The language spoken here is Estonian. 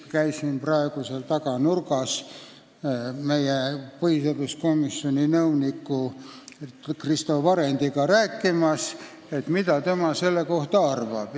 Ma käisin praegu seal taga nurgas meie põhiseaduskomisjoni nõuniku Kristo Varendiga rääkimas, et mida tema selle kohta arvab.